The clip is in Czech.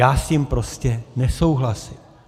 Já s tím prostě nesouhlasím.